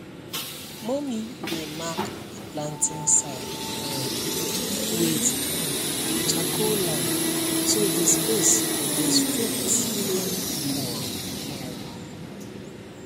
mummy dey mark the planting side um with um charcoal line so the space go dey straight and equal um